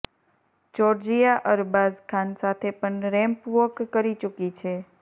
Georgia Arbaaz Khan સાથે પણ ramp walk કરી ચુકી છે